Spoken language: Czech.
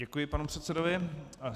Děkuji panu předsedovi.